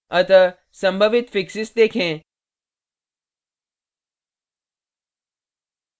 अतः संभावित fixes देखें